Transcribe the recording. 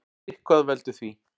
Sitthvað veldur því.